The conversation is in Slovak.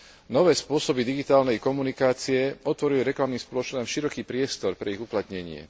Nové spôsoby digitálnej komunikácie otvorili reklamným spoločnostiam široký priestor pre ich uplatnenie.